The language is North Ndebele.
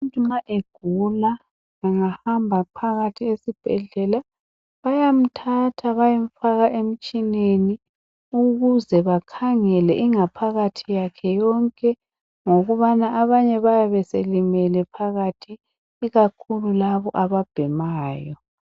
Umuntu nxa egula engahamba phakathi esibhedlela bayamthatha bayemfaka emtshineni ukuze bakhangele ingaphakathi yakhe yonke ngokubana abanye bayabe sebelimelele phakathi ikakhulu laba ababhemayo.